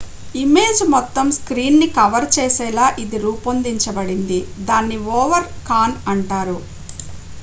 image మొత్తం screen ని cover చేసేలా ఇది రూపొందించబడింది దాన్ని ఓవర్ కాన్ అంటారు